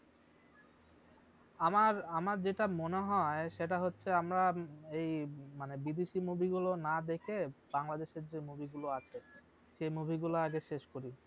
আমার আমার যেটা মনে হয় সেটা হচ্ছে আমরা এই মানে বিদেশী movie গুলো না দেখে বাংলাদেশ এর যে movie গুলো আছে সেই movie গুলা আগে শেষ করি